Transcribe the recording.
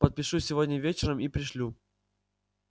подпишу сегодня вечером и пришлю